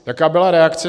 Jaká byla reakce?